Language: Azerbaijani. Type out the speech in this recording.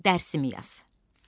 Dərsimi yaz.